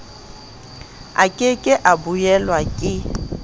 ke ke a buellwa ke